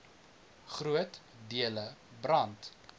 groot dele brand